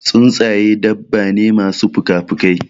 Tsuntsaƴe dabba ne masu pukapukai.